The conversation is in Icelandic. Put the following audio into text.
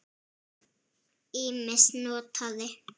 Ýmist notaði